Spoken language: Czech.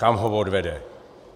Kam ho odvede?